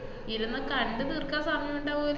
ഇരുന്ന് കണ്ട് തീർക്കാൻ സമയൊണ്ടോവോ~